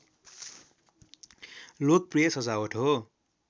लोकप्रिय सजावट हो